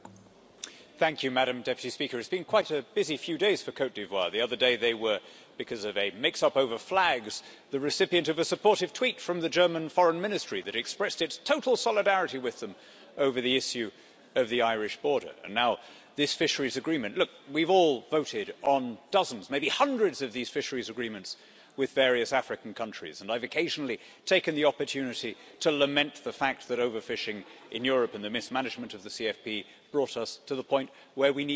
Madam President, it has been quite a busy few days for Côte d'Ivoire. The other day, because of a mix up over flags, it was the recipient of a supportive tweet from the German Foreign Ministry, which expressed its total solidarity with Côte d'Ivoire over the issue of the Irish border and now we have this Fisheries Agreement. Look, we've all voted on dozens, maybe hundreds, of these fisheries agreements with various African countries, and I have occasionally taken the opportunity to lament the fact that overfishing in Europe and the mismanagement of the common fisheries policy brought us to the point where we needed to do this.